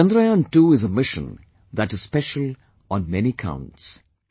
Chandrayaan II is a mission that is special on many counts